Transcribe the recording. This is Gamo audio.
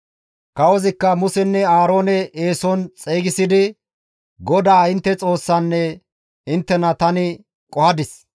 Kawozikka Musenne Aaroone eeson xeygisidi, «GODAA intte Xoossanne inttena tani qohadis.